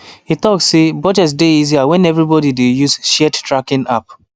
e talk say budget dey easier when everybody dey use shared tracking app